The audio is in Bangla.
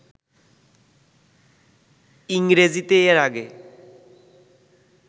ইংরেজিতে এর আগে